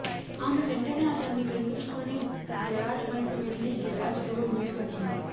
ఆమె వెంటనే అతన్ని విడిపించుకుని గెరాజ్ వైపు వెళ్ళి గెరాజ్ డోర్ మూసి వచ్చింది